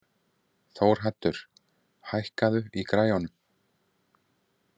Þórhaddur, hækkaðu í græjunum.